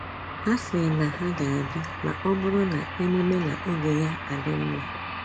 Ha si na ha ga abia ma ọ bụrụ na emume na-oge ya a adị mma